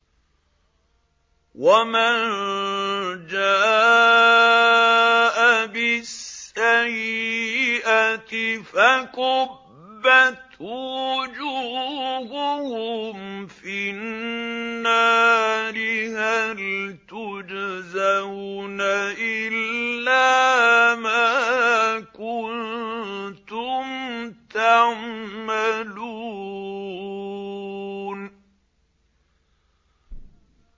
وَمَن جَاءَ بِالسَّيِّئَةِ فَكُبَّتْ وُجُوهُهُمْ فِي النَّارِ هَلْ تُجْزَوْنَ إِلَّا مَا كُنتُمْ تَعْمَلُونَ